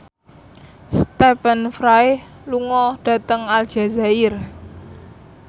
Stephen Fry lunga dhateng Aljazair